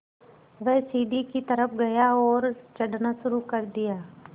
वह सीढ़ी की तरफ़ गया और चढ़ना शुरू कर दिया